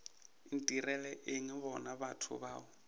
ntirela eng bona batho bao